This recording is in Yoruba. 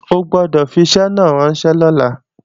O gbọ́dọ̀ fi iṣẹ́ náà ránṣẹ́ lọ́la!